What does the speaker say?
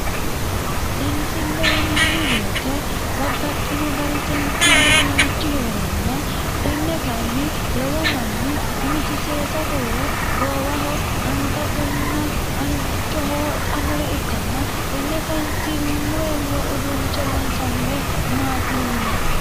seensille yinanni woyiite babbaxxino dani seensillu uduunnichi heeranna tenne kayiinni lowo manni umisi seesate yee goowaho angatenna angichoho wodhannore ikkanna tenne seensillu uduunnicho loonsannire maati yinanni.